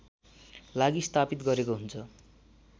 लागि स्थापित गरेको हुन्छ